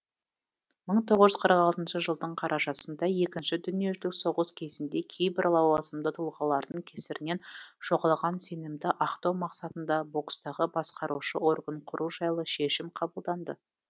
мың тоғыз жүз қырық алтыншы жылдың қарашасында екінші дүниежүзілік соғыс кезінде кейбір лауазымды тұлғалардың кесірінен жоғалған сенімді ақтау мақсатында бокстағы басқарушы орган құру жайлы шешім қабылданды